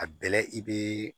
A bɛlɛ i bɛ